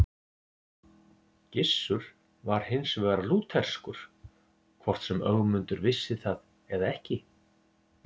Gissur var hins vegar lútherskur, hvort sem Ögmundur vissi það eða ekki.